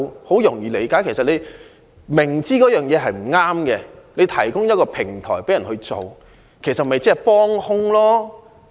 某人如果明知一件事不對，卻提供一個平台讓別人做，其實是幫兇。